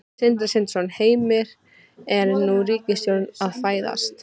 Sindri Sindrason: Heimir, er ný ríkisstjórn að fæðast?